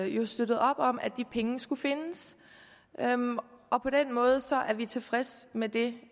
jo støttet op om at de penge skulle findes og på den måde er vi tilfredse med det